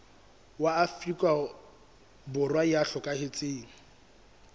wa afrika borwa ya hlokahetseng